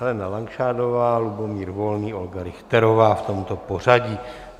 Helena Langšádlová, Lubomír Volný, Olga Richterová, v tomto pořadí.